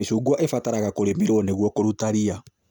Mĩcungwa ĩbataraga kũrĩmĩrwo nĩguo kũrũta ria